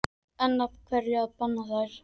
En af hverju þá að banna þær?